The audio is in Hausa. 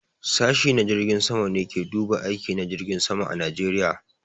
Sashi na jirgin sama ne ke duba aiki na jirgin sama a Najeriya.